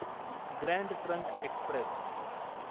grand Trunk Express